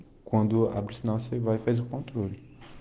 кунду образовался вайфай контроль